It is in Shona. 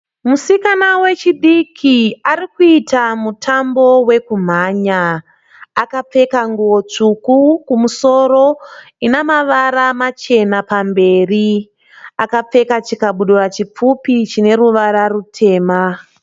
Musikana wechidiki ari kuita mutambo wokumhanya. Akapfeka nguwo tsvuku kumusuro ine mavara machena pamberi. Akapfeka chikabudura chipfupi chine ruvara rutema.